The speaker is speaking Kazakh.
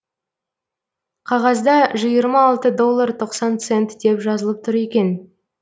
қағазда жиырма алты доллар тоқсан цент деп жазылып тұр екен